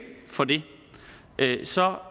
for det